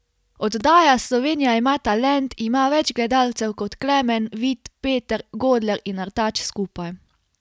Oddaja Slovenija ima talent ima več gledalcev kot Klemen, Vid, Peter, Godler in Artač skupaj.